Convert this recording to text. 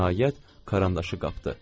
Nəhayət, karandaşı qapdı.